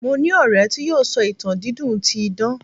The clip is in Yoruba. mo ni ọrẹ ti yíò sọ ìtàn dídùn ti idan